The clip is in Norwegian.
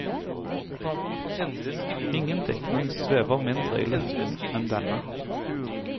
Ingen diktning svever mindre i luften enn denne.